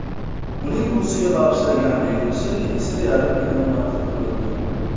Uning buvisiga bag‘ishlagan videosi esa yarim million marta ko‘rildi.